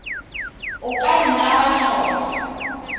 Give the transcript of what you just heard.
o ka nna wa tlhopha